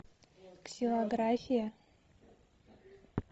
ксилография